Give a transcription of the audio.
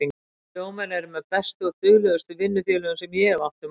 Sjómenn eru með bestu og duglegustu vinnufélögum sem ég hef átt um ævina.